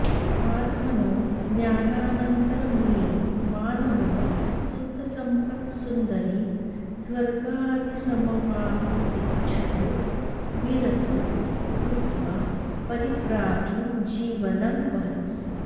आत्मनो ज्ञानानन्तरमेव मानवः सुतसम्पत्सुन्दरीस्वर्गादिसमवाप्तीच्छतो विरतो भूत्वा परिव्राजो जीवनं वहति